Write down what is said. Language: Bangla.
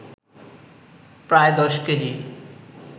প্রায় ১০ কেজি